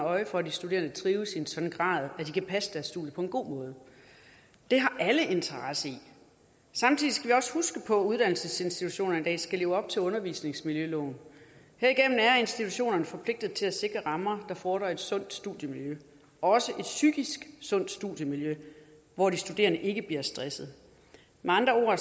øje for at de studerende trives i en sådan grad at de kan passe deres studier på en god måde det har alle interesse i samtidig skal vi også huske på at uddannelsesinstitutionerne i dag skal leve op til undervisningsmiljøloven herigennem er institutionerne forpligtede til at sikre rammer der fordrer et sundt studiemiljø også et psykisk sundt studiemiljø hvor de studerende ikke bliver stressede med andre